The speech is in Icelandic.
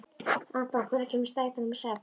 Anton, hvenær kemur strætó númer sex?